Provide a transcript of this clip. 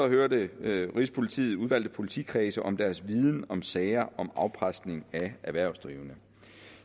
hørte rigspolitiet udvalgte politikredse om deres viden om sager om afpresning af erhvervsdrivende